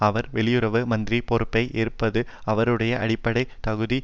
அவர் வெளியுறவு மந்திரி பொறுப்பை ஏற்றபோது அவருடைய அடிப்படை தகுதி